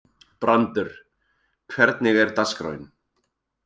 Brandr, hvernig er dagskráin?